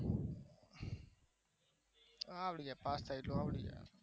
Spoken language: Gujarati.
આવડી જાય પાસ થાય એટલું આવડે